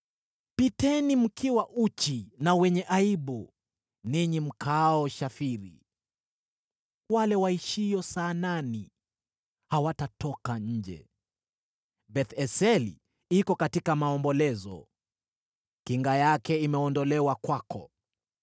Piteni mkiwa uchi na wenye aibu, ninyi mkaao Shafiri. Wale waishio Saanani hawatatoka nje. Beth-Eseli iko katika maombolezo; kinga yake imeondolewa kwako.